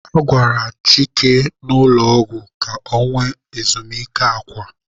A gwara Chike n'ụlọ ọgwụ ka ọ nwee ezumike akwa.